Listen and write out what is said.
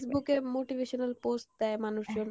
Facebook এ motivational post দেই মানুষজন,